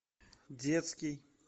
детский